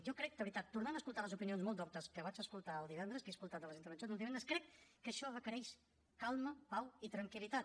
jo crec de veritat tornant a escoltar les opinions molt doctes que vaig escoltar en les intervencions de divendres que això requereix calma pau i tranquil·litat